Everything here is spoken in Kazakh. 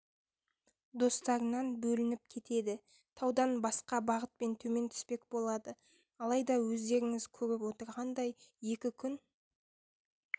достарынан бөлініп кетеді таудан басқа бағытпен төмен түспек болады алайда өздеріңіз көріп отырғандай екі күн